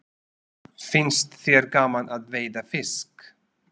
Finnst þér gaman að veiða fisk?